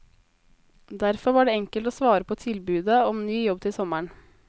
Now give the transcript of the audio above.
Derfor var det enkelt å svare på tilbudet om ny jobb til sommeren.